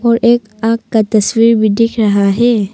और एक आंख का तस्वीर भी दिख रहा है।